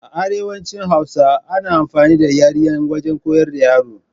A arewacin hausa ana amfani da yaryen wajen koyar da yara.